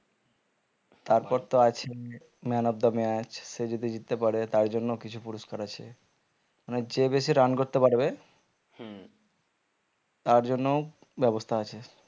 তারপর তো আছে man of the match সে যদি জিততে পারে তার জন্য কিছু পুরস্কার আছে মানে যে বেশি run করতে পারবে তার জন্য ও ব্যবস্থা আছে